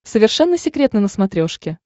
совершенно секретно на смотрешке